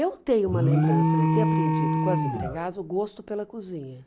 Eu tenho uma lembrança de ter aprendido com as empregadas o gosto pela cozinha.